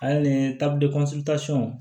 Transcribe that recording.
Ale ni